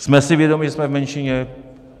Jsme si vědomi, že jsme v menšině.